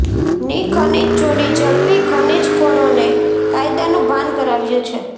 ની ખનીજ ચોરી ઝડપી ખનીજખોરો ને કાયદાનું ભાન કરાવ્યું છે